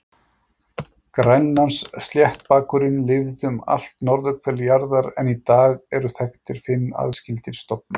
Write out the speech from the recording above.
Grænlandssléttbakurinn lifði um allt norðurhvel jarðar en í dag eru þekktir fimm aðskildir stofnar.